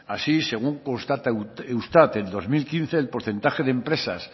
así según constata eustat en dos mil quince el porcentaje de empresas